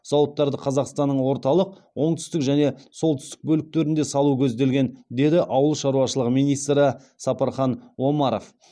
зауыттарды қазақстанның орталық оңтүстік және солтүстік бөліктерінде салу көзделген деді ауыл шаруашылығы министрі сапархан омаров